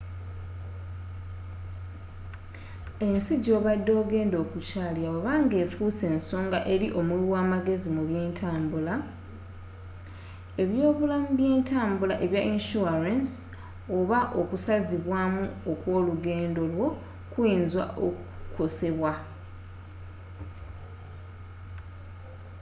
ensi joobadde ogenda okukyallira bweba nga efuuse nsonga eri omuwi wa magezi mu bye ntambula ebyobulamu byentambula ebya insurance oba okusazibwamu okw'olugendo lwo kuyinza okukosebwa